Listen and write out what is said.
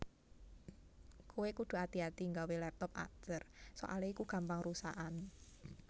Kowe kudu ati ati gawe laptop Acer soale iku gampang rusakan